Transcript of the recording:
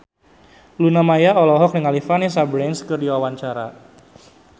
Luna Maya olohok ningali Vanessa Branch keur diwawancara